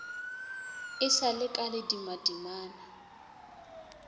e sa le ka ledimadimana